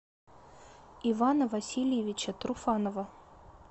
ивана васильевича труфанова